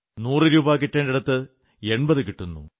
നൂറു രൂപാ കിട്ടേണ്ടിടത്ത് 80 കിട്ടുന്നു